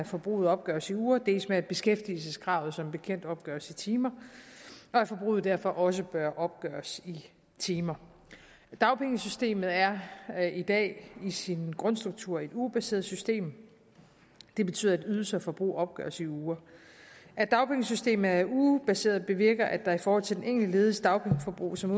forbruget opgøres i uger dels med at beskæftigelseskravet som bekendt opgøres i timer og at forbruget derfor også bør opgøres i timer dagpengesystemet er i dag i sin grundstruktur et ugebaseret system det betyder at ydelse og forbrug opgøres i uger at dagpengesystemet er ugebaseret bevirker at der i forhold til den enkelte lediges dagpengeforbrug som